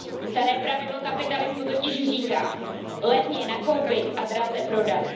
Staré pravidlo kapitalismu totiž říká Levně nakoupit a draze prodat.